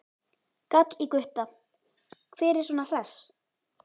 gall í Gutta, hver er svona hress?